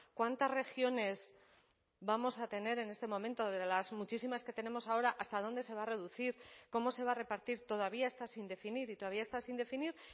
cuántas regiones vamos a tener en este momento de las muchísimas que tenemos ahora hasta dónde se va a reducir cómo se va a repartir todavía está sin definir y todavía está sin definir